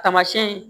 Taamasiyɛn